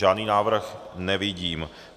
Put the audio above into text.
Žádný návrh nevidím.